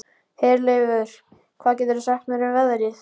Herleifur, hvað geturðu sagt mér um veðrið?